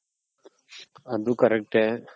ಅದು correct.